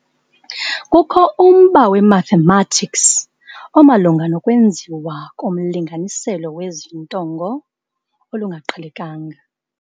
Kukho umba we-mathematics ], omalunga nokwenziwa komlinganiselo wezinto ngo] olungaqhelekanga.